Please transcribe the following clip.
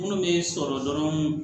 Munnu be sɔrɔ dɔrɔn